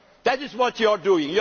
That is what you are doing.